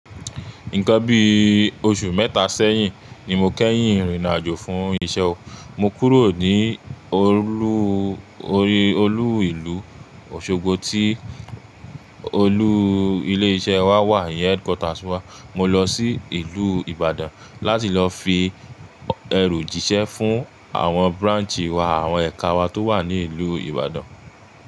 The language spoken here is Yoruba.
Nǹkan bí oṣù mẹ́ta sẹ́yìn ni mo kẹ́yìn rìnaàjò fún iṣẹ́ o. Mo kúrò ní olú, olú ìlú Òṣogbo tí olú ilé iṣẹ́ wa wà, iyen Headquarters wà. Mo lọ sí ìlú Ìbàdàn láti lọ fi ẹro jíṣẹ́ fún àwọn branch wà, àwọn ẹ̀ka wa tó wà ní ìlú Ìbàdàn.